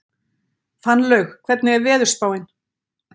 Fannlaug, hvernig er veðurspáin?